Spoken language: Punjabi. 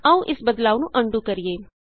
ਆਉ ਇਸ ਬਦਲਾਉ ਨੂੰ ਅਨਡੂ ਕਰੀਏ